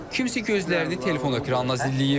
Kimisə gözlərini telefona ekrana zilləyib.